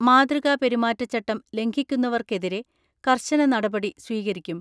മാതൃകാപെരുമാറ്റച്ചട്ടം ലംഘിക്കുന്നവർക്കെതിരെ കർശന നടപടി സ്വീകരിക്കും.